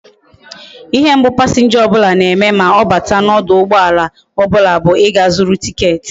Ihe mbu passenger obula na eme ma obata na oduugboala obula bu iga zuru ticket